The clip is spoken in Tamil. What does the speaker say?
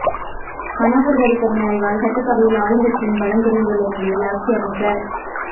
மனோகர் பாரீக்கர் மறைவால் சட்டசபையில் ஆளும்கட்சியின் பலம் குறைந்துள்ள நிலையில் ஆட்சி அமைக்க